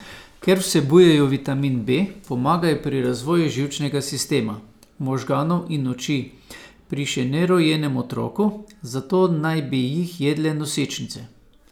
Ker vsebujejo vitamin B, pomagajo pri razvoju živčnega sistema, možganov in oči pri še nerojenem otroku, zato naj bi jih jedle nosečnice.